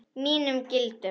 Mínum gildum.